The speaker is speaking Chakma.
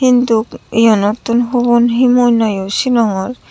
hinduk yanottun hubon hi mui noyo sinongor.